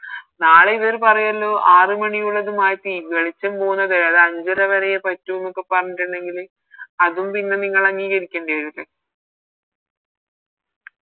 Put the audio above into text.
നാളെ ഇവര് പറയുവല്ലോ ആറ് മണിയുള്ളത് മാറ്റി വെളിച്ചം പോകുന്നത് അത് അഞ്ചര വരെയേ പറ്റുന്നൊക്കെ പറഞ്ഞിറ്റിണ്ടെങ്കില് അതും പിന്നെ നിങ്ങളങ്ങീകരിക്കെണ്ടി വരൂലേ